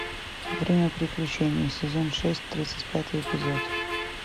время приключений сезон шесть тридцать пятый эпизод